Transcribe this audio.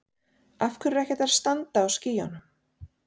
Af hverju er ekki hægt að standa á skýjunum?